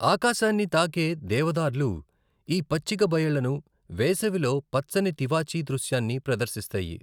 ఆకాశాన్ని తాకే దేవదార్లు ఈ పచ్చిక బయళ్లను వేసవిలో పచ్చని తివాచీ దృశ్యాన్ని ప్రదర్శిస్తాయి.